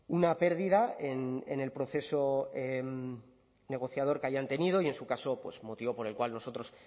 una pérdida en el proceso negociador que hayan tenido y en su caso pues motivo por el cual nosotros